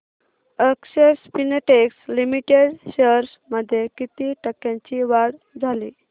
अक्षर Spintex limited shares मध्ये किती टक्क्यांची वाढ झाली